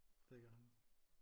Det gør han